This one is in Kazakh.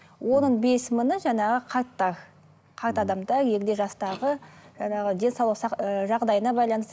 оның бес мыңы жаңағы қарттар қарт адамдар егде жастағы жаңағы денсаулық ыыы жағдайына байланысты